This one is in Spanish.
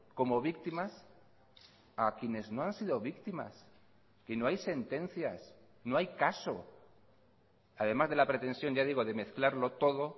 como víctimas a quienes no han sido víctimas y no hay sentencias no hay caso además de la pretensión ya digo de mezclarlo todo